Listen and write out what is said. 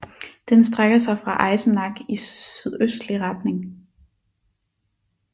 Den strækker sig fra Eisenach i sydøstlig retning